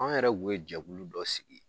Anw yɛrɛ kun ye jɛkulu dɔ sigi